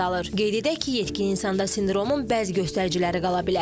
Qeyd edək ki, yetkin insanda sindromun bəzi göstəriciləri qala bilər.